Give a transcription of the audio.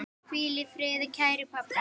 Hvíl í friði, kæri pabbi.